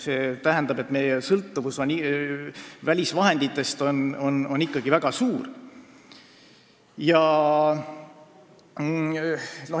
See tähendab, et meie sõltuvus välisvahenditest on ikkagi väga suur.